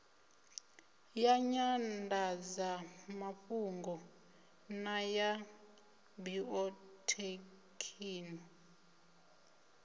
ya nyandadzamafhungo na ya biothekhino